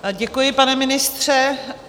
Děkuji, pane ministře.